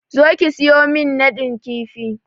Zo ki siyo min nadin kifi!